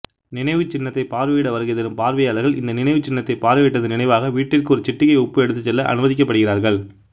நினைவுச்சின்னத்தைப் பார்வையிட வருகைதரும் பார்வையாளர்கள் இந்த நினைவுச்சின்னத்தைப் பார்வையிட்டதன் நினைவாக வீட்டிற்கு ஒரு சிட்டிகை உப்பு எடுத்துச் செல்ல அனுமதிக்கப்படுகிறார்கள்